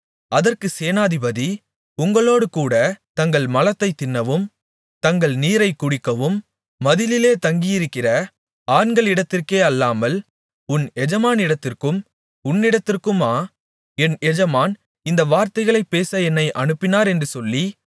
அதற்கு சேனாதிபதி உங்களோடுகூடத் தங்கள் மலத்தைத் தின்னவும் தங்கள் நீரைக் குடிக்கவும் மதிலிலே தங்கியிருக்கிற ஆண்களிடத்திற்கே அல்லாமல் உன் எஜமானிடத்திற்கும் உன்னிடத்திற்குமா என் எஜமான் இந்த வார்த்தைகளைப் பேச என்னை அனுப்பினார் என்று சொல்லி